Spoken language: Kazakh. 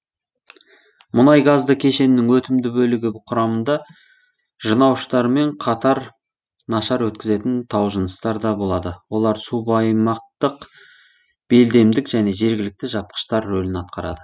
мұнайгазды кешеннің өтімді бөлігі құрамында жынауыштармен қатар нашар өткізетін таужыныстар да болады олар субаймақтық белдемдік және жергілікті жапқыштар рөлін атқарады